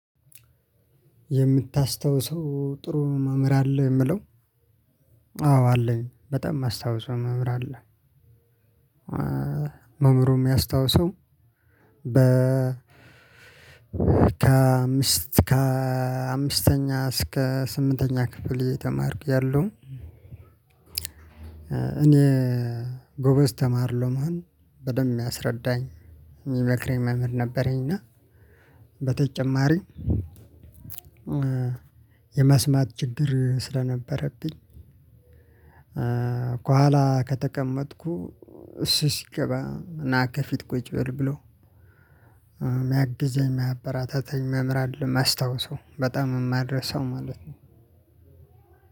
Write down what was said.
የምታስታውሰው ጥሩ መምህር አለ? የሚለው አዎ አለኝ በጣም ማስታውሰው መምህር አለ። መምህሩም የሚያስታውሰው በ ከአምስት ከአምስተኛ እስከ ስምንተኛ ክፍል እየተማርኩ እያለሁ እኔ ጎበዝ ተማሪ ለመሆን በደንብ የሚያስረዳኝ የሚመክረኝ መምህር ነበረኝ እና በተጨማሪ የመስማት ችግር ስለነበረብኝ ከኋላ ከተቀመጥኩ እሱ ሲገባ ናከፊት ቁጭ በል ብሎ የሚያግዘኝ የሚያበረታታኝ መምህር አለ የማስታውሰው በጣም የማልረሳው ማለት ነው።